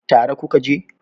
tare ku ka je?